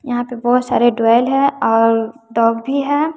यहां पे बहुत सारे है और डॉग भी है।